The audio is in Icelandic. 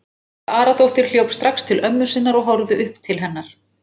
Helga Aradóttir hljóp strax til ömmu sinnar og horfði upp til hennar.